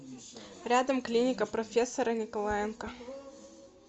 рядом клиника профессора николаенко